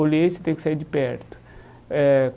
Olhei, você tem que sair de perto eh.